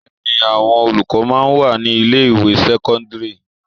Bẹẹni àwọn olùkọ́ máa ń wà ní ilé ìwé sẹ́kọ́ńdírì.